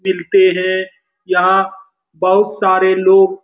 मिलते हैं यहाँ बहुत सारे लोग --